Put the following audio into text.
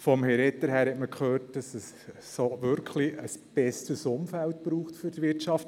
Von Herrn Etter hat man gehört, für die Wirtschaft brauche es wirklich ein besseres Umfeld.